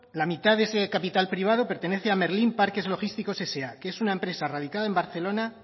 la mitad de ese capital privado pertenece a merlin parques logísticos sa que es una empresa radicada en barcelona